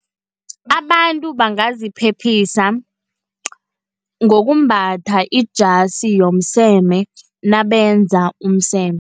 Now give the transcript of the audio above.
Abantu bangaziphephisa ngokumbatha ijasi yomseme nabenza umseme.